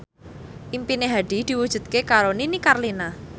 impine Hadi diwujudke karo Nini Carlina